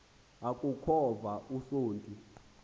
aku khova usonti